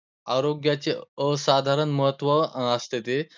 आरोग्याचे असाधारण महत्व असते ते.